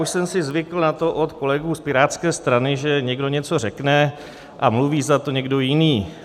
Už jsem si zvykl na to od kolegů z Pirátské strany, že někdo něco řekne a mluví za to někdo jiný.